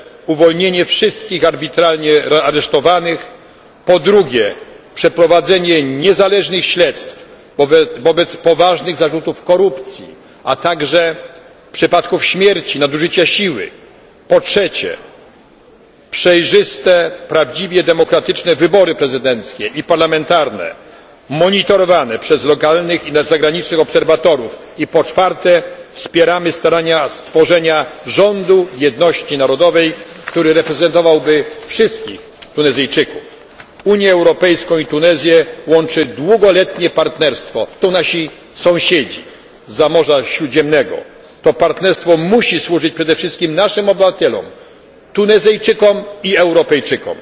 Po pierwsze, uwolnienie wszystkich arbitralnie aresztowanych. Po drugie, przeprowadzenie niezależnych śledztw wobec poważnych zarzutów korupcji, a także przypadków śmierci, nadużycia siły. Po trzecie, przejrzyste, prawdziwie demokratyczne wybory prezydenckie i parlamentarne, monitorowane przez lokalnych i zagranicznych obserwatorów i po czwarte, wspieramy starania stworzenia rządu jedności narodowej, który reprezentowałby wszystkich Tunezyjczyków. Unię Europejską i Tunezję łączy długoletnie partnerstwo, to są nasi sąsiedzi zza Morza Śródziemnego. To partnerstwo musi służyć przede wszystkim naszym obywatelom, Tunezyjczykom